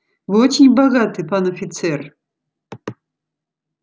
вы очень богаты пан офицер